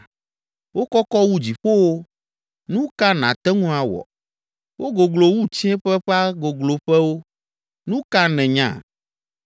Wokɔkɔ wu dziƒowo, nu ka nàte ŋu awɔ? Wogoglo wu tsiẽƒe ƒe gogloƒewo, nu ka nènya?